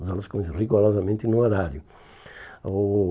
As aulas começavam rigorosamente no horário. O